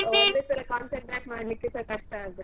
ಒಂದೇ ಸಲ concentrate ಮಾಡ್ಲಿಕ್ಕೆಸ ಕಷ್ಟ ಆಗ್ತದೆ.